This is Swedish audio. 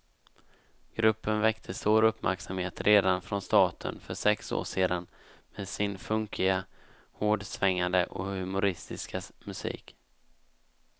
Gruppen väckte stor uppmärksamhet redan från starten för sex år sedan med sin funkiga, hårdsvängande och humoristiska musik.